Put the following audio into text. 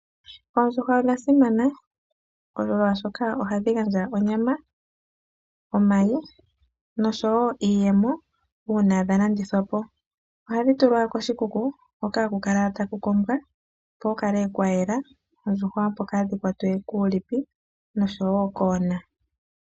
Oondjuhwa odha simana molwashoka ohadhi gandja onyama, omayi noshowo iiyemo uuna dha landithwa po. Ohadhi tulwa koshikuku hoka haku kala taku kombwa, opo ku kale kwa yela opo oondjuhwa kaadhi kwatwe kuulipi osho wo koona.